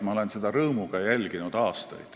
Ma olen seda aastaid rõõmuga jälginud.